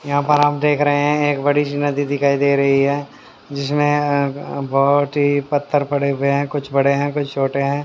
यहां पर आप देख रहे है एक बड़ी सी नदी दिखाई दे रही है जिसमें अं बहोत ही पत्थर पड़े हुए है कुछ बड़े है कुछ छोटे है।